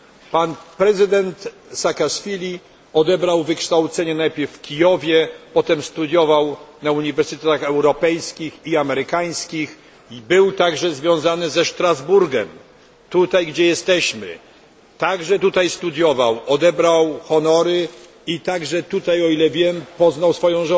Pan prezydent Saakaszwili odebrał wykształcenie najpierw w Kijowie, potem studiował na uniwersytetach europejskich i amerykańskich i był także związany ze Strasburgiem, tutaj studiował, odebrał honory i także tutaj, o ile wiem, poznał swoją